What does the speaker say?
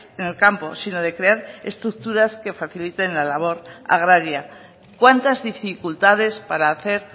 en el campo sino de crear estructuras que faciliten la labor agraria cuántas dificultades para hacer